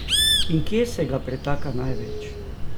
In kje se ga pretaka največ?